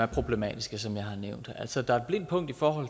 problematiske for